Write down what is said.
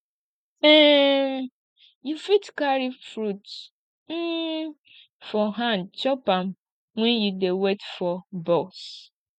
um you fit carry fruit um for hand chop am wen you dey wait for bus